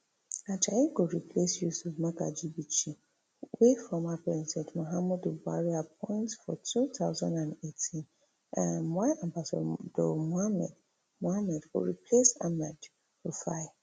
ajayi go replace yusuf magaji bichi wey former president muhammadu buhari appoint for two thousand and eighteen um while ambassador mohammed mohammed go replace ahmed rufai